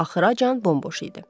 Axıracan bomboş idi.